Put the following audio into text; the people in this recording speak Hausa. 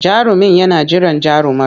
Jarumin yana jiran jarumar.